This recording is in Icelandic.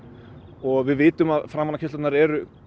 og við vitum að framanákeyrslur eru